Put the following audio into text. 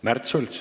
Märt Sults.